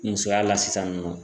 Musoya la sisan nin nɔ